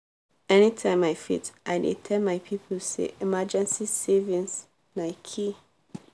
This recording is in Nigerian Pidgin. anytime i fit i dey tell my people say emergency savings na key.